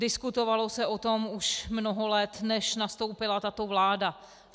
Diskutovalo se o tom už mnoho let, než nastoupila tato vláda.